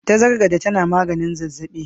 Tagargade tana maganin zazzabi.